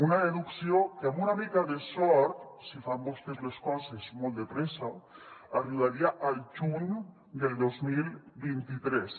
una deducció que amb una mica de sort si fan vostès les coses molt de pressa arribaria al juny del dos mil vint tres